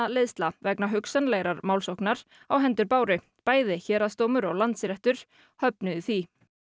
gagnaöflunarvitnaleiðsla vegna hugsanlegrar málsóknar á hendur Báru bæði Héraðsdómur og Landsréttur höfnuðu því